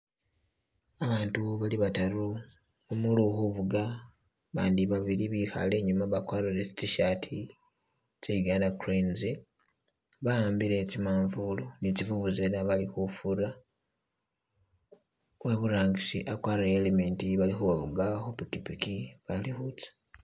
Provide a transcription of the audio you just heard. Abandu bali bataru umuuli ukhufuga abandi babili bali inyuma bakwarire tsi tshirt tse Uganda cranes, ba'ambile tsi manvulu ne tsi vuvuzela bali khufura, uwe iburangisi akwarire e helmet bali khubafuga khu pikipiki bali khutsa.